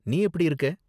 நீ எப்படி இருக்க?